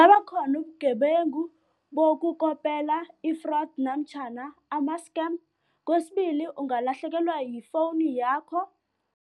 Abakhona ubugebengu bokukopela i-fraud namtjhana ama-scam. Kwesibili, ungalahlekelwa yifowunu yakho.